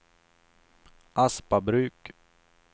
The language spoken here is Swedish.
Aspabruk